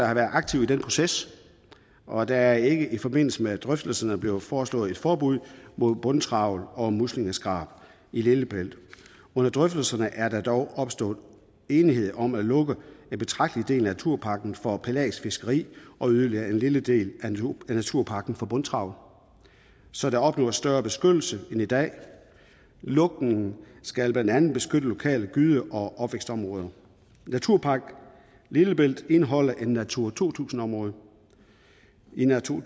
har været aktivt i den proces og der er ikke i forbindelse med drøftelserne blevet foreslået et forbud mod bundtrawl og muslingeskrab i lillebælt under drøftelserne er der dog opstået enighed om at lukke en betragtelig del af naturparken for pelagisk fiskeri og yderligere en lille del af naturparken for bundtrawl så der opnås større beskyttelse end i dag lukningen skal blandt andet beskytte lokale gyde og opvækstområder naturpark lillebælt indeholder et natura to tusind område i natura